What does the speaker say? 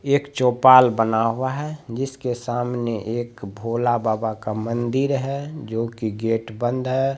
एक चोपाल बना हुआ है जिसके सामने एक भोला बाबा का मन्दिर है जो कि गेट बंद है।